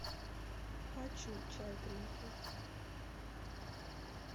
хочу чай гринфилд